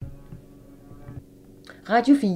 Radio 4